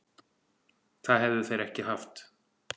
Það hefðu þeir ekki haft